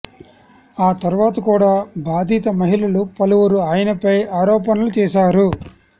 ఆ తరువాత కూడా బాధిత మహిళలు పలువురు ఆయనపై ఆరోపణలు చేశారు